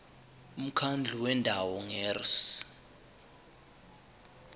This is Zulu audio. umkhandlu wendawo ngerss